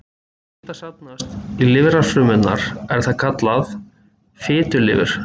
Þegar fita safnast í lifrarfrumurnar er það kallað fitulifur.